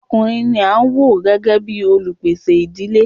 Ọkùnrin ní a máà wò gbẹ́gẹ́ bìí olupèsè ìdílé.